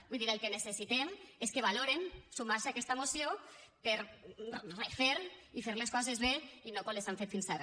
vull dir el que necessitem és que valoren sumar se a aquesta moció per a refer i fer les coses bé i no com les han fet fins ara